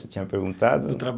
Você tinha perguntado.